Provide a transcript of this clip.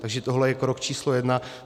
Takže tohle je krok číslo jedna.